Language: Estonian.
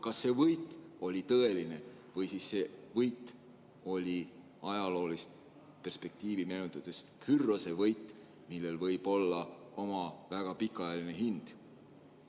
Kas see võit oli tõeline või see võit oli ajaloost tuntud Pyrrhose võit, millel võib olla oma väga pikaajaline hind?